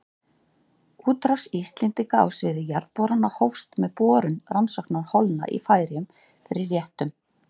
Útrás Íslendinga á sviði jarðborana hófst með borun rannsóknarholna í Færeyjum fyrir réttum